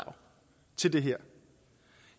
til det her